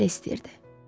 Oğul belə istəyirdi.